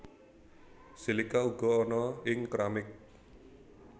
Silika uga ana ing keramik